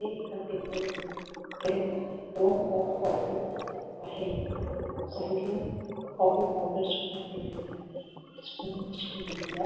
हे एका टेबल वर ट्रे मध्ये दोन कप कॉफी आहे साइड ला कॉफी पाउडर सुद्धा ठेवलेली आहे स्पून ठेवलेल्या--